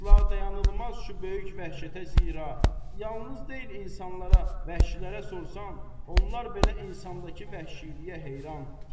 Əsla dayanılmaz şu böyük vəhşətə, zira, yalnız deyil insanlara, vəhşilərə sorsan, onlar belə insandakı vəhşiliyə heyran.